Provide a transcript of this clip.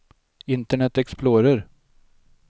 internet explorer